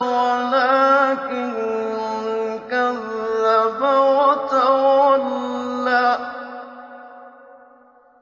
وَلَٰكِن كَذَّبَ وَتَوَلَّىٰ